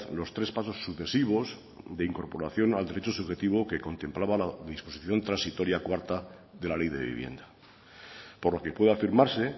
los tres pasos sucesivos de incorporación al derecho subjetivo que contemplaba la disposición transitoria cuarta de la ley de vivienda por lo que puede afirmarse